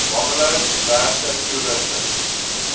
bungalows diverse toerusting